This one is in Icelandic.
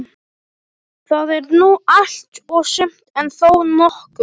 Það er nú allt og sumt, en þó nokkuð.